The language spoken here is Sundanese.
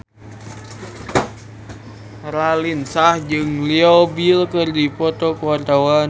Raline Shah jeung Leo Bill keur dipoto ku wartawan